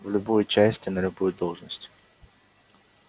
в любую часть и на любую должность